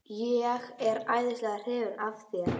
Ég er æðislega hrifinn af þér, Sif.